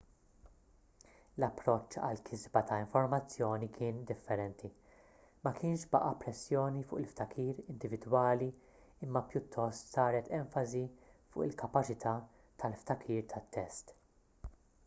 l-approċċ għall-kisba ta' informazzjoni kien differenti ma kienx baqa' pressjoni fuq il-ftakir individwali imma pjuttost saret enfasi fuq il-kapaċità tal-ftakir tat-test